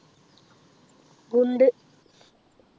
ഗുണ്ട